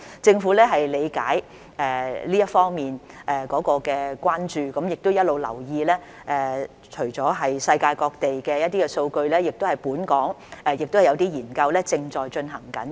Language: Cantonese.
政府理解這一方面的關注，也一直留意，除了世界各地的數據，本港也有些研究正在進行。